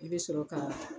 I bɛ sɔrɔ ka